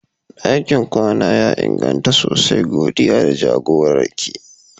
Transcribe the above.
Dakin kwana ya inganta sosai, godiya da jagorar ki.